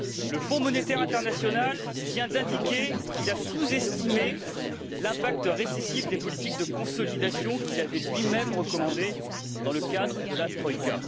Le Fonds monétaire international vient d'indiquer qu'il avait sous estimé l'impact récessif des politiques de consolidation qu'il avait lui même recommandées dans le cadre de la troïka.